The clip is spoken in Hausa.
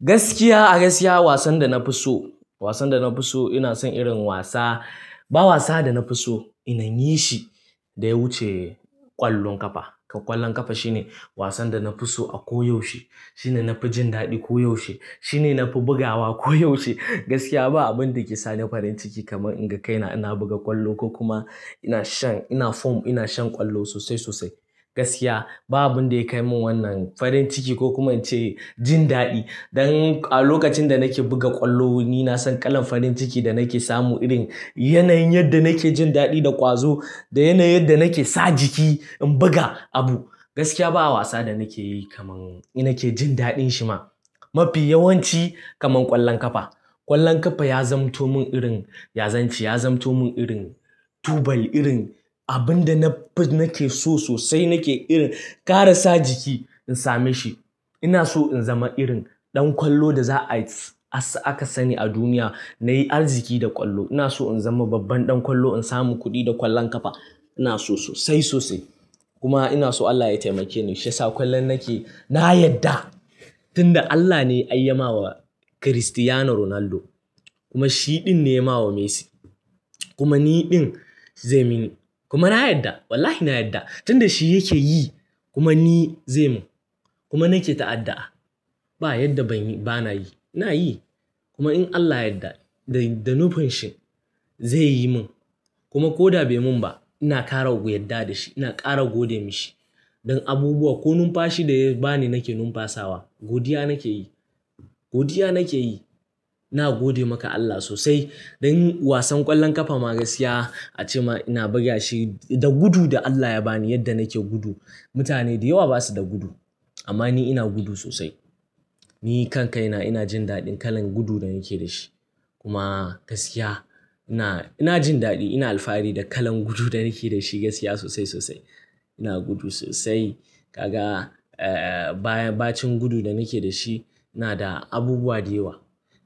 Gaskiya a gaskiya wasan da na fi so, wasan da na fi so ina son irin wasa, ba wasa da na fi so ina yi shi da ya wuce ƙwallon ƙafa. Ƙwallon ƙafa shine wasan da na fi so a ko yaushe. Shine na fi jin daɗi ko yaushe. Shine na fi bugawa ko yaushe. Gaskiya ba abin da ke sa ni farin ciki kamar in ga kaina ina buga ƙwallo ko kuma ina shan, ina form ina shan ƙwallo sosai sosai. Gaskiya babu abin da ya kai min wannan farin ciki ko kuma ce jin daɗi. Don a lokacin da nake buga ƙwallo ni na san kalan farin ciki da nake samu irin yanayin yadda nake jin daɗi da ƙwazo da yanayin yadda nake sa jiki in buga abu. Gaskiya ba wasa da nake yi kamar ina ke jin daɗin shi ma. Mafi yawanci kamar ƙwallon ƙafa. Ƙwallon ƙafa ya zamto min irin, ya zance, ya zamto min irin tubali irin abin da na fi nake so sosai nake irin ƙara sa jiki in same shi. Ina so in zama irin ɗan ƙwallo da za a, aka sani a duniya na yi arziki da ƙwallo. Ina so in zama babban ɗan ƙwallo in samu kuɗi da ƙwallon ƙafa. Ina so sosai sosai. Kuma ina so Allah ya taimake ni shi ya sa ƙwallon nake, na yadda. Tun da Allah ne ya yi ma wa Cristiano Ronaldo kuma shi ɗin ne ya ma wa Messi. Kuma ni ɗin zai yi mini. Kuma na yadda wallahi na yadda. Tun da shi yake yi kuma ni zai mun. Kuma nake ta'adda'a. Ba yadda ban yi, bana yi. Ina yi. Kuma in Allah yadda da nufin shi zai yi mun. Kuma ko da bai mun ba ina ƙara guyadda da shi ina ƙara gode masa shi. Don abubuwa ko numfashi da ya ba ni nake numfasawa. Godiya nake yi. Godiya nake yi. Na gode maka Allah sosai. Don wasan ƙwallon ƙafa ma gaskiya a ce ma ina buga shi da gudu da Allah ya ba ni yadda nake gudu. Mutane da yawa ba su da gudu amma ni ina gudu sosai. Ni kan kai na ina jin daɗin kalan gudu da nake da shi. Kuma gaskiya ina, ina jin daɗi ina alfahari da kalan gudu da nake da shi gaskiya sosai sosai. Ina gudu sosai. Kaga, eh, baya, bacin gudu da nake da shi yana da abubuwa da yawa